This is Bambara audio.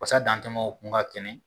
Wasa dantɛmɛ u kun ka kɛnɛ